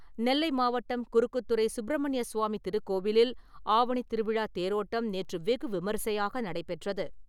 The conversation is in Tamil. நெல்லை மாவட்டம் குறுக்குத்துறை சுப்பிரமணிய சுவாமி திருக்கோவிலில் ஆவணித் திருவிழா தேரோட்டம் நேற்று வெகு விமரிசையாக நடைபெற்றது.